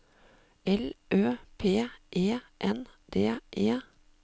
L Ø P E N D E